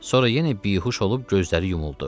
Sonra yenə bihuş olub gözləri yumuldu.